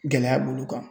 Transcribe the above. Gɛlɛya b'olu kan